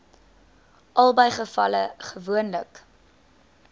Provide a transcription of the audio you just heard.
albei gevalle gewoonlik